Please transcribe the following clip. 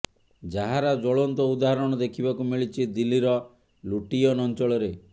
ଯାହାର ଜ୍ବଳନ୍ତ ଉଦାହାରଣ ଦେଖିବାକୁ ମିଳିଛି ଦିଲ୍ଲୀର ଲୁଟିୟନ ଅଞ୍ଚଳରେ